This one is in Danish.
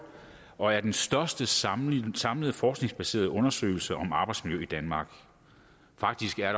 og er den største samlede samlede forskningsbaserede undersøgelse om arbejdsmiljø i danmark faktisk er